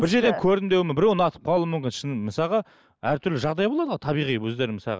бір жерден көрдім біреу ұнатып қалуы мүмкін шын мысалға әртүрлі жағдай болады ғой табиғи өздерінің мысалға